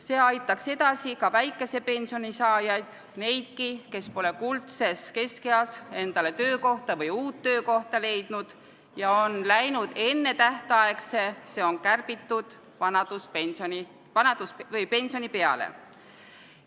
See aitaks edasi ka väikese pensioni saajaid ning neidki, kes pole kuldses keskeas endale töökohta või uut töökohta leidnud ja on läinud ennetähtaegse, st kärbitud vanaduspensioni peale.